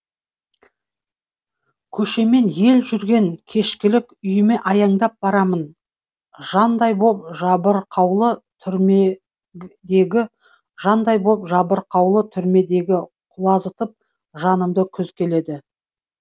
көшемен ел жүрген кешкілік үйіме аяңдап барамын жандай боп жабырқаулы түрмедегі жандай боп жабырқаулы түрмедегі құлазытып жанымды күз келеді